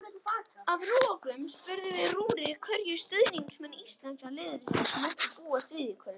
Að lokum spurðum við Rúrik hverju stuðningsmenn íslenska liðsins mættu búast við í kvöld.